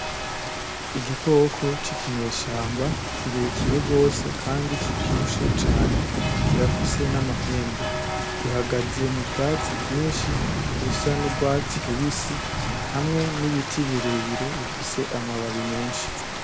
Igikoko cicinyeshamba cirekire rwose kandi kibyibushe cane, kirafise n’amahembe, gihagaze m’ubwatsi rwinshi busa n'urwatsi rubisi hamwe n'ibiti birebire bifise amababi menshi.